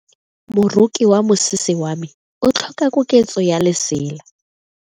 Moroki wa mosese wa me o tlhoka koketso ya lesela.